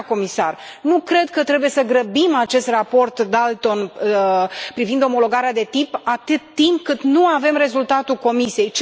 Doamna comisar, nu cred că trebuie să grăbim acest raport Dalton privind omologarea de tip, atât timp cât nu avem rezultatul Comisiei.